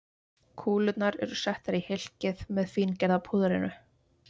Kúlurnar eru settar í hylkið með fíngerða púðrinu.